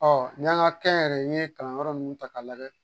Ɔ n'i yan ka kɛyɛrɛye kalanyɔrɔ ninnu ta k'a lajɛ